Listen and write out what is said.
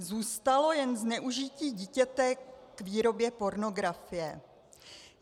Zůstalo jen zneužití dítěte k výrobě pornografie.